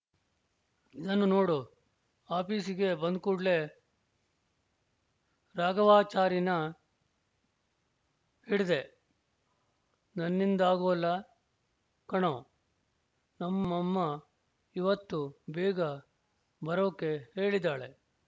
ಇದನ್ನು ನೋಡು ಆಫೀಸಿಗೆ ಬಂದ್ಕೂಡ್ಲೆ ರಾಘವಾಚಾರೀನ ಹಿಡ್ದೆ ನನ್ನಿಂದಾಗೋಲ್ಲ ಕಣೋ ನಮ್ಮಮ್ಮ ಇವತ್ತು ಬೇಗ ಬರೋಕೆ ಹೇಳಿದಾಳೆ